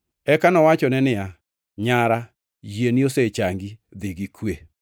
Eka nowachone niya, “Nyara, yieni osechangi. Dhi gi kwe.”